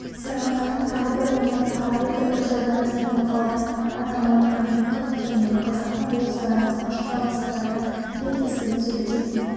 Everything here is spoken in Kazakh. сарыарқаның тағы бір нөмірін қарап отырып үржардан деген мақаладан атаман анненков пен қазақтың болыстарының алашорда бастықтарының тілектестігін суреттейтін